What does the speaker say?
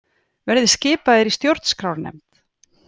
Verði skipaðir í stjórnarskrárnefnd